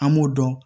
An m'o dɔn